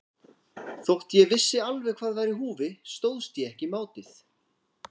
Þótt ég vissi alveg hvað var í húfi stóðst ég ekki mátið.